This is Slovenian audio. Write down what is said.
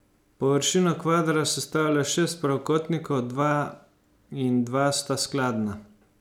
Površino kvadra sestavlja šest pravokotnikov, dva in dva sta skladna.